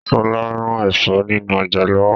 Sọlá ń rà Ẹ̀fọ́ nínú ọjà lọ́wọ́.